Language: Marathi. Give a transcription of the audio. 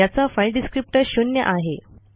याचा फाइल डिस्क्रिप्टर शून्य आहे